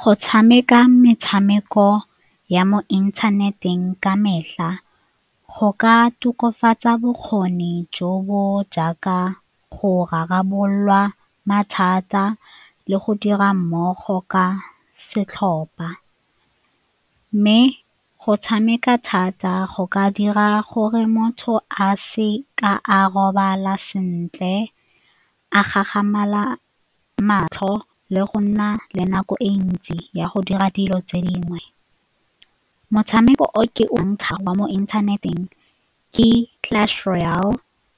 Go tshameka metshameko ya mo inthaneteng ka metlha go ka tokafatsa bokgoni jo bo jaaka go rarabolola mathata le go dira mmogo ka setlhopa mme go tshameka thata go ka dira gore motho a se ka a robala sentle, a matlho le go nna le nako e ntsi ya go dira dilo tse dingwe motshameko o ke o ntsha gwa mo inthaneteng ke Clash Royale